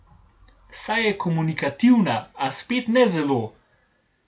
Saj je komunikativna, a spet ne zelo.